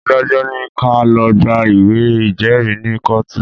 Adájọ́ ní ká lọ̀ gba ìwé ìjẹ́rìí ni kọ́ọ̀tù